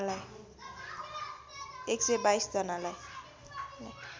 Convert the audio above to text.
१२२ जनालाई